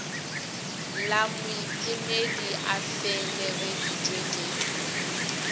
la moiphemedi a felegeditšwe ke